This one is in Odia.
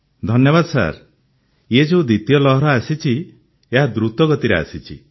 ଧନ୍ୟବାଦ ସାର୍ ଇଏ ଯେଉଁ ଦ୍ୱିତୀୟ ଲହର ଆସିଛି ଏହା ଦ୍ରୁତ ଗତିରେ ଆସିଛି